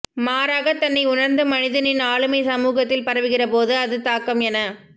மாறாக தன்னை உணர்ந்த மனிதனின் ஆளுமை சமூகத்தில் பரவுகிற போது அது தாக்கம் என